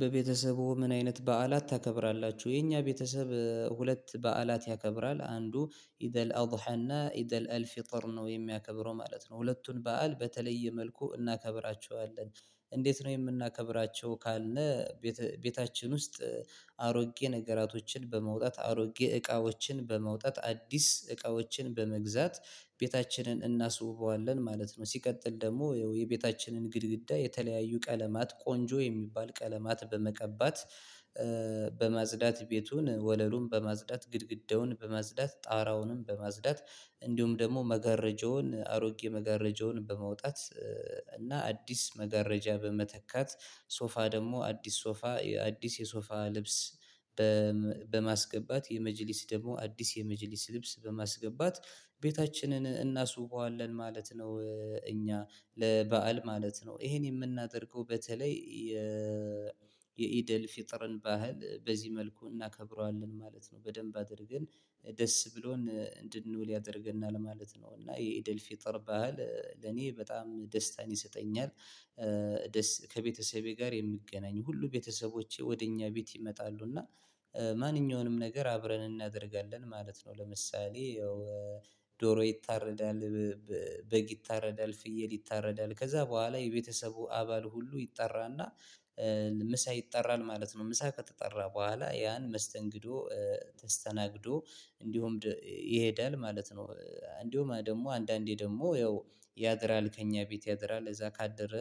በቤተሰቡ ምን አይነት በዓላት ታከብራላችሁ? የኛ ቤተሰብ ሁለት በዓላት ያከብራል አንዱ ኢደል አልሀዳ እና ኢደል አልፊጥር ነው የሚያከብረው ማለት ነው። ሁለቱን በዓል በተለየ መልኩ እናከብራቸዋለን። እንዴት ነው የምናከብራቸው ካልነ? ቤታችን ውስጥ አሮጌ ነገራቶችን በመውጣት አሮጌ እቃዎችን በመውጣት አዲስ እቃዎችን በመግዛት ቤታችንን እናስውበዋለን ማለት ነው። ሲቀጥል ደግሞ የቤታችንን ግድግዳ የተለያዩ ቀለማት ቆንጆ የሚባል ቀለማት በመቀባት። በማጽዳት ቤቱን ወለሉን በማጽዳት ግድግዳውን በማጽዳት ጣራውንም በመዝዳት እንዲሁም ደግሞ መገረጃውን አሮጌ መገረጃውን በመውጣት እና አዲስ መጋረጃ በመተካት። ሶፋ ደግሞ አዲስ ሶፋ አዲስ የሶፋ ልብስ በማስገባት የመጅሊስ ደግሞ አዲስ የመጂሊስ ልብስ በማስገባት ቤታችንን እናስውበዋለን ማለት ነው። እኛ ለበአል ማለት ነው ይሄን የምናደርገው በተለይ የኢደል ፍጥረን ባህል በዚህ መልኩ እናከብረዋለን ማለት ነው። በደንብ አድርገን ደስ ብሎን እንድንውል ያደርገናል ማለት ነው። እና የኢደል ፊጥር ባህል ለኔ በጣም ደስታን ይሰጠኛል። ከቤተሰቤ ጋር የምገናኝ ሁሉ ቤተሰቦቼ ወደ እኛ ቤት ይመጣሉ እና ማንኛውንም ነገር አብረን እናደርጋለን ማለት ነው። ለምሳሌ ያው ዶሮ ይታረዳል። በግ ይታረዳል ፍየል ይታረዳል ከዛ በኋላ የቤተሰቡ አባል ሁሉ ይጠራ እና ምሳ ይጠራል ማለት ነው። ምሳ ከተጠራ በኋላ ያን መስተንግዶ ተስተናግዶ እንዲሁም ይሄዳል ማለት ነው። እንዲሁም ደግሞ አንዳንዴ ደግሞ ያድራል ከእኛ ቤት ያድራል እዛ ካደረ